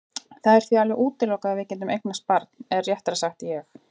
Það er því alveg útilokað að við getum eignast barn eða réttara sagt ég.